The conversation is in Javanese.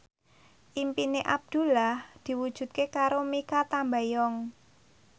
impine Abdullah diwujudke karo Mikha Tambayong